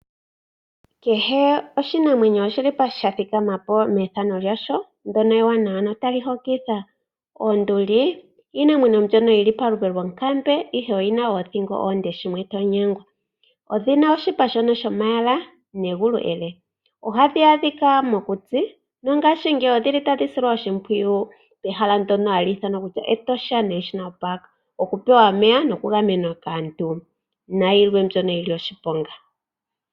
Kehe oshinamwenyo oshili po sha thika ma po methano lyasho ndyono ewanawa no tali hokitha. Onduli iinamwenyo yili pa lupe lwonkambe ihe oyina oothingo oonde shimwe to nyengwa. odhina oshipa shomayala negulu ele, ohadhi adhika mokuti no ngashingeyi odhili tadhi silwa oshimpwiyu pehala ndyono hali ithanwa Etosha National park oku pewa omeya noku gamenwa kaantu na yilwe mbyono yili oshiponga.